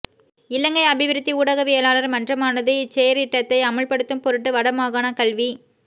இலங்கை அபிவிருத்தி ஊடகவியலாளர் மன்றமானது இச்செயற்றிட்டத்தை அமுல்படுத்தும் பொருட்டு வட மாகாண கல்வி